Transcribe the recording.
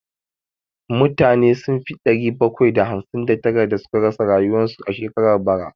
Mutane sun fi ɗari bakwai da hamsin da tara da suka rasu a shekarar bara